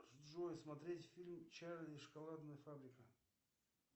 джой смотреть фильм чарли и шоколадная фабрика